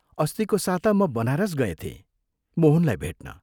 अस्तिको साता म बनारस गएथें, मोहनलाई भेट्न।